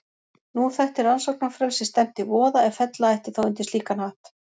Nú þætti rannsóknarfrelsi stefnt í voða ef fella ætti þá undir slíkan hatt.